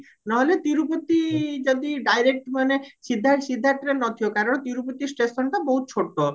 ନହେଲେ ତିରୁପତି ଯଦି direct ମାନେ ସିଧା ସିଧା train ନଥିବା କାରଣ ତିରୁପତି stationଟା ବହୁତ ଛୋଟ